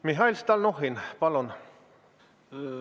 Mihhail Stalnuhhin, palun!